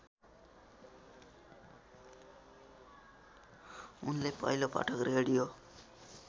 उनले पहिलोपटक रेडियो